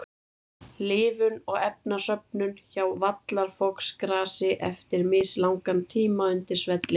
Lifun og efnasöfnun hjá vallarfoxgrasi eftir mislangan tíma undir svelli.